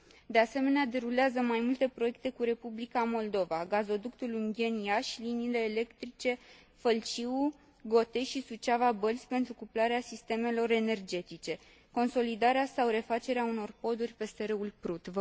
De asemenea, derulează mai multe proiecte cu Republica Moldova, gazoductul Ungheni Iași și liniile electrice Fălciu Gotești și Suceava Bălți, pentru cuplarea sistemelor energetice, consolidarea sau refacerea unor poduri peste râul Prut.